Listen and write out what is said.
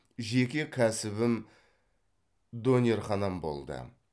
жеке кәсібім дөнерханам болды